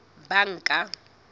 banka